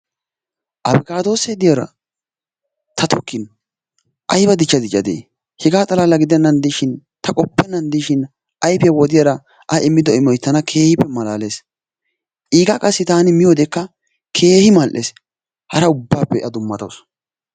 Askaadoosee diyara ta tokkin ayba dichcha diccadee? hegaa xalaala gidennan diishin ta qoppenna diishin ayfiya wodiyara a immido immoy tana keehippe malaalees. iigaa taani miyodekka keehi mal'ees. hara ubaappe a dumatawusu